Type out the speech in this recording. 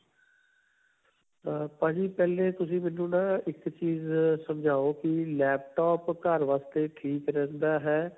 ਅਅ ਭਾਜੀ ਪਹਿਲਾਂ ਤੁਸੀ ਮੈਨੂੰ ਨਾ ਇੱਕ ਚੀਜ਼ ਸਮਝਾਓ ਕਿ laptop ਘਰ ਵਾਸਤੇ ਠੀਕ ਰਹਿੰਦਾ ਹੈ?